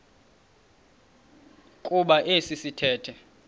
kuba esi sithethe